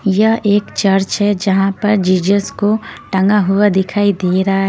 यह एक चर्च है जहां पर जीजस को टंगा हुआ दिखाई दे रहा है।